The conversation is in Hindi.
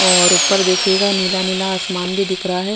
और उपर देखिएगा नीला नीला आसमान भी दिख रहा है।